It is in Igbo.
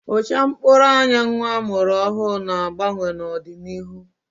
Ụcha mkpụrụ anya nnwa a mụrụ ọhụrụ ga-agbanwe n'ọdịnihu